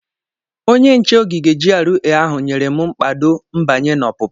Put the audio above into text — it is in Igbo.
Onye nche ogige GRA ahụ nyere m mkpado nbanyr na ọpụpụ.